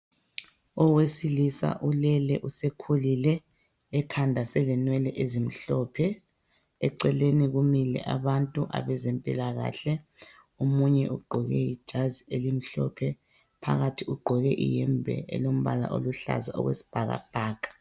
Owesilisa ulele usekhulile ekhanda selenwele ezimhlophe eceleni kumile abantu abezempilakahle omunye ugqoke ijazi elimhlophe phakathi ugqoke iyembe elombala oluhlaza okwesibhaka bhaka.